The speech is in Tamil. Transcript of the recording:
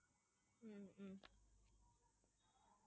ஹம் ஹம்